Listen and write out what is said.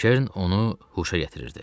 Kern onu huşa gətirirdi.